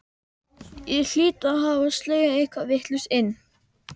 Ég hlýt að hafa slegið eitthvað vitlaust inn.